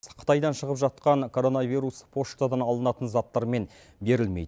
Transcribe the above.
қытайдан шығып жатқан короновирус поштадан алынатын заттармен берілмейді